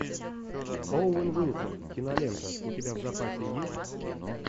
оуэн уилсон кинолента у тебя в запасе есть